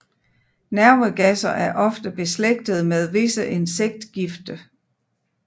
Nervegasser er ofte beslægtede med visse insektgifte